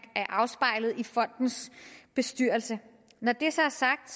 er afspejlet i fondens bestyrelse når det så er sagt